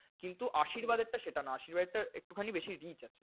কিন্তু আশীর্বাদ এর টা সেটা না। আশীর্বাদ এর টা একটুখানি বেশিই rich আছে।